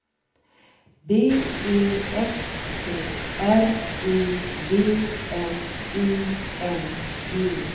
B E S K R I V N I N G